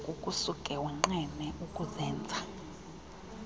kukusuke wonqene ukuzenza